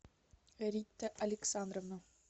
рита александровна